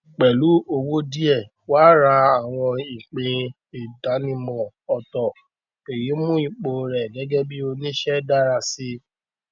àwọn olùdókòowó yẹ kí wọn yàgò fún títọjú owó àti àwọn ìwé pàtàkì ní àwọn agbègbè tó rọrùn nínú ilé